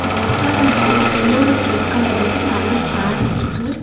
அந்த ரெஸ்டாரண்டுக்குள்ள yellow with red கலர்லியே நறைய சேர்ஸ் இருக்கு.